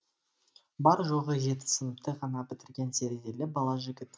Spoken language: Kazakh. бар жоғы жеті сыныпты ғана бітірген зерделі бала жігіт